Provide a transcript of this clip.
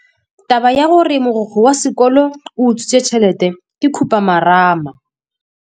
Taba ya gore mogokgo wa sekolo o utswitse tšhelete ke khupamarama.